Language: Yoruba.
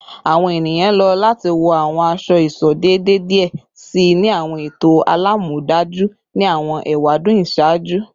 Awọn eniyan lo lati wọ awọn aṣọ-iṣọ deede diẹ sii ni awọn eto alamọdaju ni awọn ewadun iṣaaju